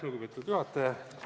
Lugupeetud juhataja!